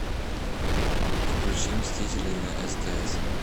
включи мстители на стс